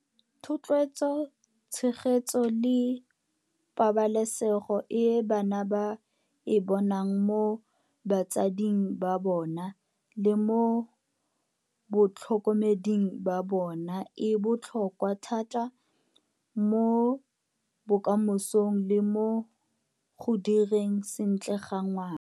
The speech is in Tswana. Thotloetso, tshegetso le pabalesego e bana ba e bonang mo batsading ba bona le mo batlhokomeding ba bona e botlhokwa thata mo bokamosong le mo go direng sentle ga ngwana.